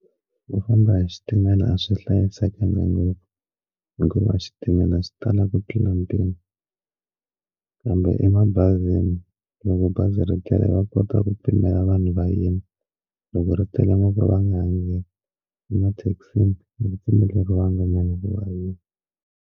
Ku famba hi xitimela a swi hlayisekanga ngopfu hikuva xitimele a swi tala ku tlula mpimo kambe emabazini loko bazi ri tele va kota ku pimela vanhu va yima loko ri tele ngopfu vange emathekisini ni pfumeleriwangi .